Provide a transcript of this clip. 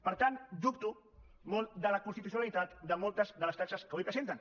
per tant dubto molt de la constitucionalitat de moltes de les taxes que avui presenten